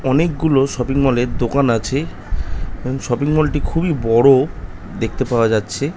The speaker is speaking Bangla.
অনেকগুলো শপিং মল এর দোকান আছে। শপিং মল টি খুবই বড়ো দেখতে পাওয়া যাচ্ছে।